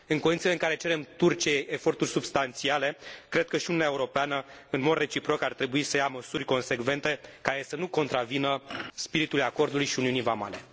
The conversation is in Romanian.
În condițiile în care cerem Turciei eforturi substanțiale, cred că și Uniunea Europeană, în mod reciproc, ar trebui să ia măsuri consecvente, care să nu contravină spiritului acordului și uniunii vamale.